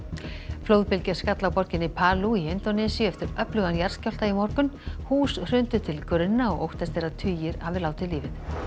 flóðbylgja skall á borginni í Indónesíu eftir öflugan jarðskjálfta í morgun hús hrundu til grunna og óttast er að tugir hafi látið lífið